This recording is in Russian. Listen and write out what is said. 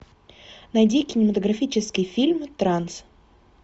найди кинематографический фильм транс